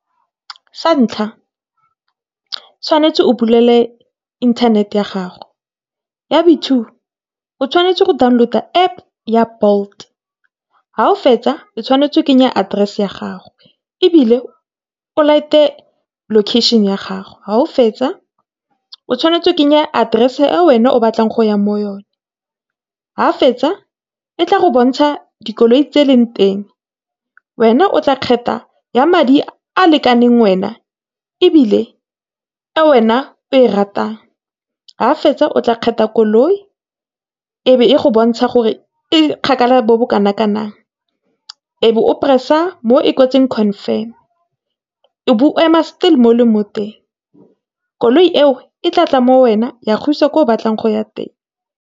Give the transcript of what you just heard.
Sa ntlha o tshwanetse go bulele internet-e ya gago, ya bo two, o tshwanetse go download-a App ya Bolt. Ha o fetsa, o tshwanetse o kenye address-e ya gago, ebile o light-e location-e ya gago. Ha o fetsa, o tshwanetse o kenye address-e e wena o batlang go ya mo go yone. Ha o fetsa, e tla go bontsha dikoloi tse di leng teng wena otla khetha ya madi a lekaneng wena, ebile e wena o e ratang. Ha o fetsa, o tla khetha koloi e be e go bontsha gore e kgakala bo bo kana kang ebe o press-a mo e kwetseng confirm-e, o bo o ema still mo o leng mo teng. Koloi eo e tla tla mo go wena ya go isa kwa ko o batlang go ya teng.